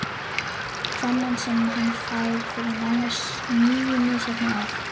Þennan sem hann fær fyrir nánast níu misheppnuð ár?